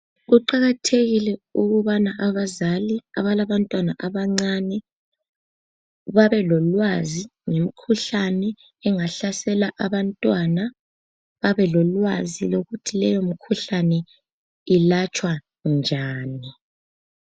Kuqakathekile ukubana abazali abalabantwana abancane babelolwazi ngemikhuhlane ehlasela abantwana babelolwazi ukuthi leyo mikhuhlane yelatshwa njani.